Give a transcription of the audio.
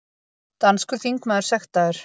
Danskur þingmaður sektaður